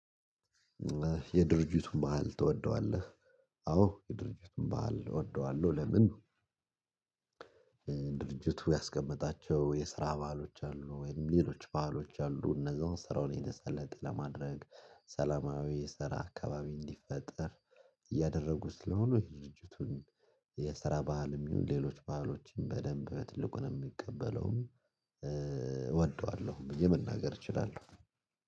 የድርጅቱን ባህል ትወደዋለህ? አዎ የድርጅቱን ባህል እወደዋለሁ። ለምን? ድርጅቱ ያስቀመጣቸው የስራ ባሀሎች አሉ ወይም ሌሎች ባሀሎች አሉ እነዛዉን ስራውን የተሳለጠ ለማድረግ ሰላማዊ ስራ አካባቢ እንዲፈጠር እያደረጉ ስለሆኑ ድርጅቱን የስራ ባህልም ይሁን ሌሎች ባህሎችም በደንብ በትልቁን የምቀበለው እወደዋለሁ ብዬ መናገር እችላለሁ